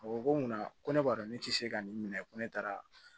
A ko ko munna ko ne b'a dɔn ne tɛ se ka nin minɛ ko ne taara